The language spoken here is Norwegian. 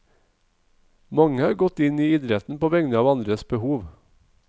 Mange har gått inn i idretten på vegne av andres behov.